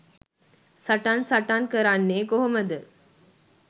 සටන් සටන් කරන්නේ කොහොමද?